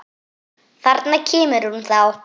Þarna kemur hún þá!